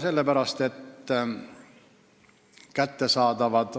Sellepärast, et kättesaadavad